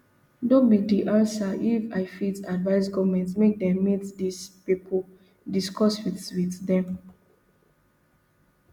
no be di answer if i fit advise goment make dem meet dis pipo discuss wit wit dem